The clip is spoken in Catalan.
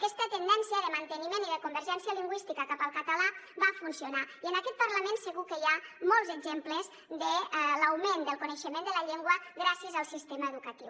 aquesta tendència de manteniment i de convergència lingüística cap al català va funcionar i en aquest parlament segur que hi ha molts exemples de l’augment del coneixement de la llengua gràcies al sistema educatiu